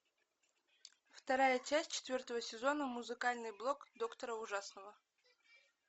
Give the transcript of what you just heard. вторая часть четвертого сезона музыкальный блог доктора ужасного